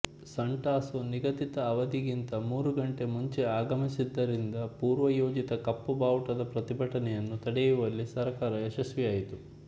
ಸಾಂಟಾಸೊ ನಿಗಧಿತ ಅವಧಿಗಿಂತ ಮೂರು ಗಂಟೆ ಮುಂಚೆ ಆಗಮಿಸಿದ್ದರಿಂದ ಪೂರ್ವ ಯೋಜಿತ ಕಪ್ಪು ಬಾವುಟದ ಪ್ರತಿಭಟನೆಯನ್ನು ತಡೆಯುವಲ್ಲಿ ಸರ್ಕಾರ ಯಶಸ್ವಿಯಾಯಿತು